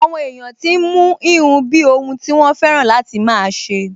Àwọn èèyàn tí n mú híhun bíi ohun tí wọ́n fẹ́ràn láti máa ṣe